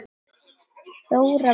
Þóra Björg.